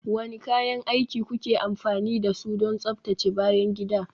Wane kayan aiki kuke amfani da su don tsaftace bayan gida?